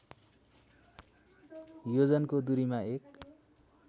योजनको दूरीमा एक